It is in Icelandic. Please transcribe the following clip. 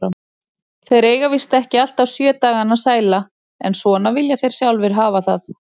Þeir eiga víst ekki alltaf sjö dagana sæla, en svona vilja þeir sjálfir hafa það.